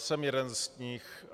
Jsem jeden z nich.